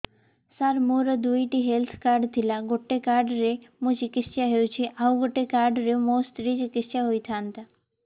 ସାର ମୋର ଦୁଇଟି health card ଥିଲା ଗୋଟେ କାର୍ଡ ରେ ମୁଁ ଚିକିତ୍ସା ହେଉଛି ଆଉ ଗୋଟେ କାର୍ଡ ରେ ମୋ ସ୍ତ୍ରୀ ଚିକିତ୍ସା ହୋଇଥାନ୍ତେ